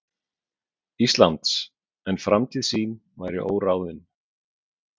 Íslands, en framtíð sín væri óráðin.